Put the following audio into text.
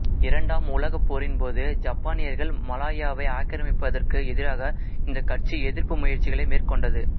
இரண்டாம் உலகப் போரின் போது ஜப்பானியர்கள் மலாயாவை ஆக்கிரமிப்பதற்கு எதிராக இந்தக் கட்சி எதிர்ப்பு முயற்சிகளை மேற்கொண்டது